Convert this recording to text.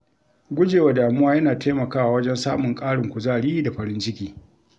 Gujewa damuwa yana taimakawa wajen samun ƙarin kuzari da farin ciki.